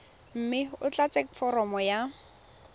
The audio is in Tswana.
mme o tlatse foromo ya